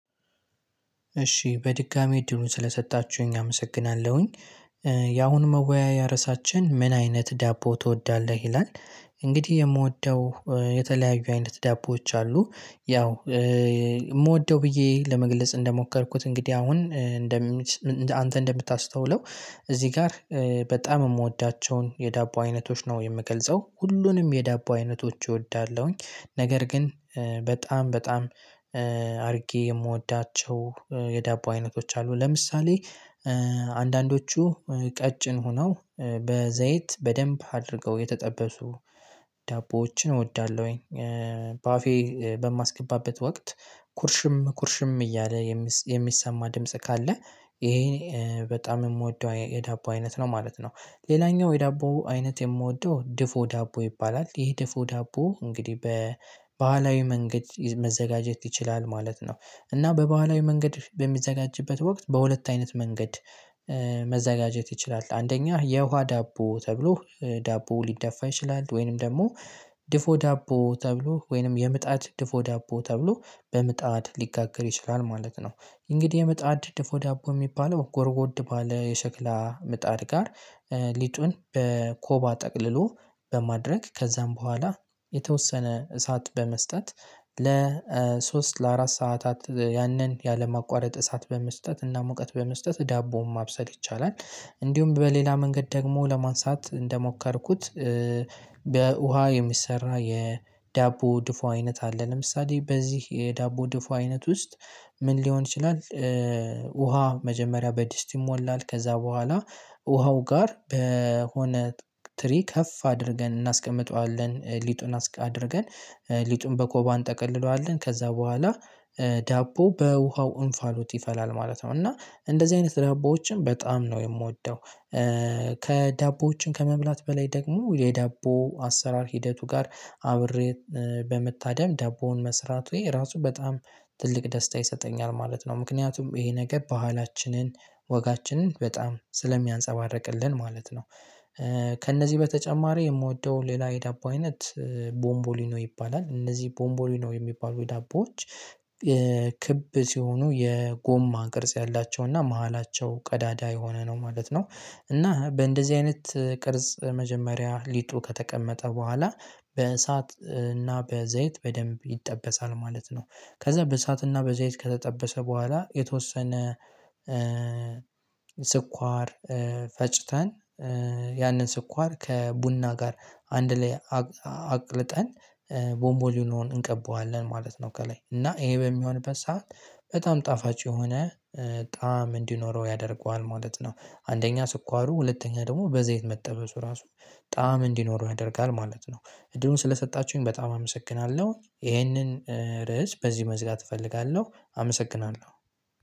እሺ በድጋሚ እድሉን ስለሰጣችሁኝ አመሰግናለሁኝ ያሁን መወያያሪያሳችን ምን አይነት ዳቦ ትወዳለህ ይላል እንግዲህ የምወደው የተለያዩ አይነት ዳቦዎች አሉ። ያው የምወደው ብዬ ለመግለጽ እንደሞከርኩት እንግዲህ አሁን እንደም አንተ እንደምታስተውለው እዚህ ጋር በጣም የምወዳቸውን የዳቦ አይነቶች ነው የምገልጸው ሁሉንም የዳቦ አይነቶች እወዳለሁኝ ነገር ግን በጣም በጣም አድርጌ የምወዳቸው የዳቦ አይነቶች አሉ ለምሳሌ አንዳንዶቹ ቀጭን ሆነው በዘይት በደንብ አድርገው የተጠበሱ ዳቦዎችን እወዳለሁኝ። በአፌ በማስገባበት ወቅት ኩርሽም ኩርሽም እያለ የሚሰማ ድምጽ ካለ ይሄን በጣም የምወደው የዳቦ አይነት ነው ማለት ነው። ሌላኛው የዳቦ አይነት የምወደው ድፎ ዳቦ ይባላል ይሄ ድፎ ዳቦ እንግዲህ በባህላዊ መንገድ መዘጋጀት ይችላል ማለት ነው። እና በባህላዊ መንገድ በሚዘጋጅበት ወቅት በሁለት አይነት መንገድ መዘጋጀት ይችላል አንደኛ የውሃ ዳቦ ተብሎ ዳቦ ሊደፋ ይችላል። ወይንም ደግሞ ድፎ ዳቦ ተብሎ ወይንም የምጣድ ድፎ ዳቦ ተብሎ በምጣድ ሊጋገር ይችላል ማለት ነው እንግዲህ የምጣድ ድፎ ዳቦ የሚባለው ጎርጎድ ባለ የሸክላ ምጣድ ጋር ሊጡን በኮባ ጠቅልሎ በማድረግ ከዚያም በኋላ የተወሰነ እሳት በመስጠት ለሶስት ለአራት ሰዓታት ያንን ያለምንም ማቋረጥ እሳት በመስጠት እና ሙቀት በመስጠት ዳቦውን ማብሰል ይቻላል። እንዲሁም በሌላ መንገድ ደግሞ ለማንሳት እንደሞከርኩት በውሃ የሚሰራ የዳቦ ድፉ አይነት አለ። ለምሳሌ በዚህ የዳቦ ድፎ አይነት ውስጥ ምን ሊሆን ይችላል ውሃ መጀመሪያ በድስት ይሞላል ከዛ በኋላ ውሃው ጋር በሆነ ትሪ ከፍ አድርገን እናስቀምጠዋለን ሊጡን አድርገን ሊጡን በኮባን እንጠቀልለዋለን ከዛ በኋላ ዳቦ በውሃው እንፋሎት ይፈላል ማለት ነው እና እንደዚህ አይነት ዳቦዎችን በጣም ነው የምወደው። ከዳቦዎችን ከመብላት በላይ ደግሞ የዳቦ አሰራር ሂደቱ ጋር አብሬ በምታደም ዳቦውን መስራት ወይ ራሱ በጣም ትልቅ ደስታ ይሰጠኛል ማለት ነው ምክንያቱም ይሄ ነገር ባህላችንን ወጋችንን በጣም ስለሚያንፀባርቅልን ማለት ነው ከእነዚህ በተጨማሪ የምወደው ሌላ የዳቦ አይነት ቦምቦሊኖ ይባላል እነዚህ ቦምቦሊኖ የሚባሉ የዳቦዎች ክብ ሲሆኑ የጎማ ቅርጽ ያላቸውና መሃላቸው ቀዳዳ የሆነ ነው ማለት ነው። እና በእንደዚህ አይነት ቅርጽ መጀመሪያ ሊጡ ከተቀመጠ በኋላ በእሳት እና በዘይት በደንብ ይጠበሳል ማለት ነው ከዛ በእሳትና በዚህ አይነት ከተጠበሰ በኋላ የተወሰነ ስኳር ፈጭተን ያንን ስኳር ከቡና ጋር አንድ ላይ አቅልጠን ቦምቦሊኖን እንቀበዋለን ማለት ነው ከላይ እና ይሄ በሚሆንበት ሰዓት በጣም ጣፋጭ የሆነ በጣም እንዲኖረው ያደርገዋል ማለት ነው አንደኛ ስኳሩ ሁለተኛ ደግሞ በዘይት መጠበሱ ራሱ ጣዕም እንዲኖረው ያደርጋል ማለት ነው። እድሉን ስለሰጣችሁኝ በጣም አመሰግናለሁ ይሄንን ርዕስ በዚህ መዝጋት እፈልጋለሁ አመሰግናለሁ።